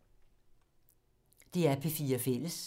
DR P4 Fælles